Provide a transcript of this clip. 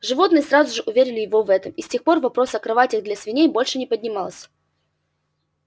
животные сразу же уверили его в этом и с тех пор вопрос о кроватях для свиней больше не поднимался